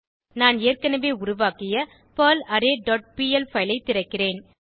நான் ஏற்கனவே உருவாக்கிய பெர்லாரே டாட் பிஎல் பைல் ஐ திறக்கிறேன்